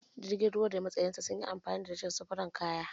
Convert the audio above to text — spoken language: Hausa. Jirgin ruwa da matsayar sa anyi amfani da shi wurin safaran kaya